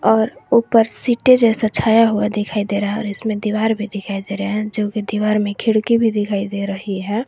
और ऊपर सीटें जैसा छाया हुआ दिखाई दे रहा है और इसमें दीवार भी दिखाई दे रहे हैं जो की दीवार में खिड़की भी दिखाई दे रही है।